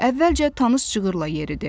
Əvvəlcə tanış cığırdan yeridi.